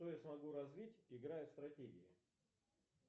что я смогу развить играя в стратегии